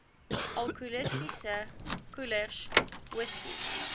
alkoholiese koelers whisky